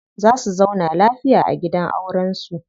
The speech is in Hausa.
Za su zauna lafiya a gidan auren su.